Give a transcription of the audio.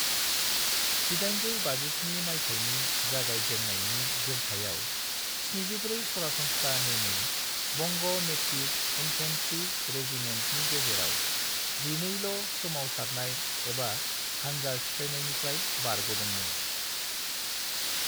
1857 मायथाइनि जागाय जेननायनि जोरथायाव 74 सरासनस्रा नेमै बंग' नेटिव इन्फैंट्री रेजिमेंटफोरनि गेजेराव, जिनैल' सोमाव सारनाय एबा हानजा सिफायनाय निफ्राय बारग'दों मोन।